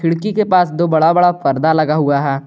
खिड़की के पास दो बड़ा बड़ा पर्दा लगा हुआ है।